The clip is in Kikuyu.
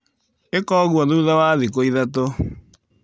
ĩka ũguo thutha wa thikũ ithatũ.